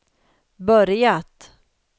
börjat